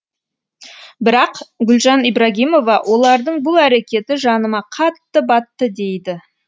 бірақ гүлжан ибрагимова олардың бұл әрекеті жаныма қатты батты дейді